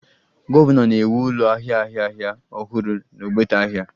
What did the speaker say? Gọvanọ na-ewu ụlọ ahịa ahịa ahịa ọhụrụ n'ogbete ahịa